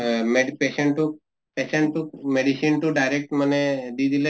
mad patient তোক patient তোক medicine তো direct মানে দি দিলে